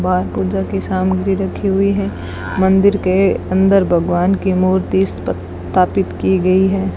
बाहर पूजा की सामग्री रखी हुई है मंदिर के अंदर भगवान की मूर्ति स्थापित की गई है।